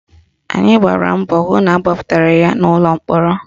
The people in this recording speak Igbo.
Anyị gbara mbọ hụ na agbapụtara ya n'ụlọ mkpọrọ